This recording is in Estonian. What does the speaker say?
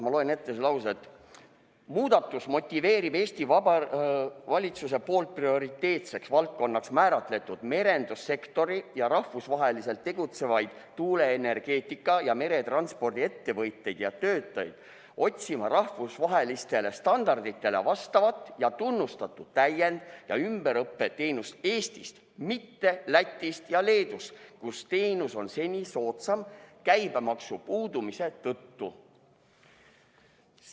Ma loen selle lause ette: "Muudatus motiveerib Vabariigi Valitsuse poolt prioriteetseks valdkonnaks määratletud merendussektori ja rahvusvaheliselt tegutsevaid tuuleenergeetika ja meretranspordi ettevõtteid ja töötajaid otsima rahvusvahelistele standarditele vastavat ja tunnustatud täiend- ja ümberõppe teenust Eestist, mitte Lätist ja Leedust, kus teenus on seni soodsam käibemaksu puudumise tõttu.